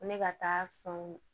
Ko ne ka taa fanw